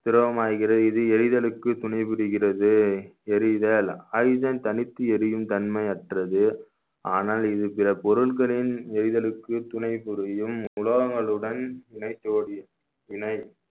திரவமாகிறது இது எரிதலுக்கு துணை புரிகிறது எரிதல் oxygen தனித்து எரியும் தன்மையற்றது ஆனால் இது பிற பொருள்களின் எரிதலுக்கு துணை புரியும் உலோகங்களுடன் இணைத்தோடிய இணை